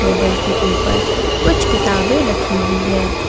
Table के ऊपर कुछ किताबें रखी हुई है।